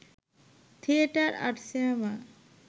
theatre আর cinema